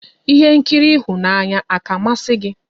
Ihé nkiri ịhụnanya àkà a masị gị?